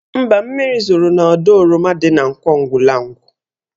Mba, mmiri zoro n'ọdọ oroma dị n' Nkwọ Ugwulangwu.